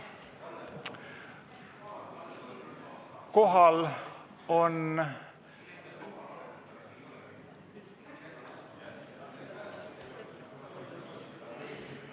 Kohal on ...